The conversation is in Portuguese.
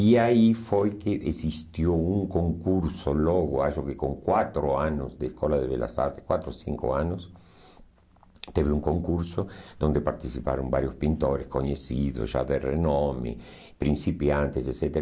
E aí foi que existiu um concurso logo, acho que com quatro anos da Escola de Belas Artes, quatro ou cinco anos, teve um concurso onde participaram vários pintores conhecidos, já de renome, principiantes, etc.